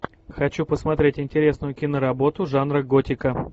хочу посмотреть интересную киноработу жанра готика